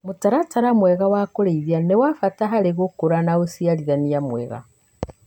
mũtaratara mwega wa kũrĩithia nĩ wa bata harĩ gũkũra na ũciarithania mwega,